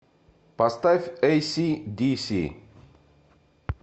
поставь эйси диси